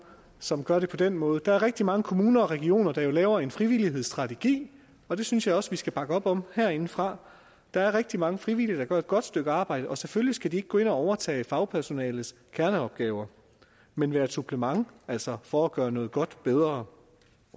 som gør det på den måde der er rigtig mange kommuner og regioner der laver en frivillighedsstrategi og det synes jeg også vi skal bakke op om herindefra der er rigtig mange frivillige der gør et godt stykke arbejde og selvfølgelig skal de ikke gå ind og overtage fagpersonalets kerneopgaver men være et supplement altså for at gøre noget godt bedre